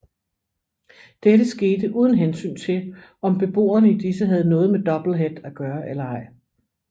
Dette skete uden hensyn til om beboerne i disse havde noget med Doublehead at gøre eller ej